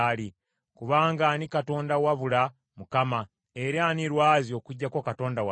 Kubanga ani Katonda wabula Mukama , era ani lwazi okuggyako Katonda waffe?